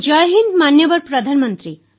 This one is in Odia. ଜୟ ହିନ୍ଦ୍ ମାନ୍ୟବର ପ୍ରଧାନମନ୍ତ୍ରୀ